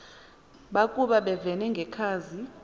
bakoba bevene ngekhazi